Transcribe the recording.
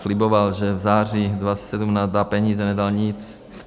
Sliboval, že v září 2017 dá peníze, nedal nic.